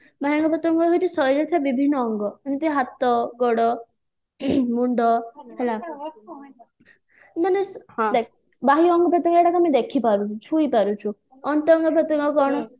ବାହ୍ୟ ଅଙ୍ଗ ପ୍ରତ୍ୟଙ୍ଗ ହଉଛି ଶରୀରରେ ଥିବା ବିଭିନ୍ନ ଅଙ୍ଗ ଯେମିତି ହାତ ଗୋଡ ମୁଣ୍ଡ ହେଲା ହଁ ଦେଖ ବାହ୍ୟ ଅଙ୍ଗ ପ୍ରତ୍ୟଙ୍ଗ ଆମେ ଦେଖି ପାରୁଛେ ଛୁଇଁ ପାରୁଛେ